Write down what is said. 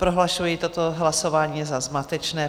Prohlašuji toto hlasování za zmatečné.